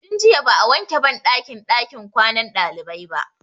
Tun jiya ba'a wanke banɗakin ɗakin kwanan ɗalibai ba.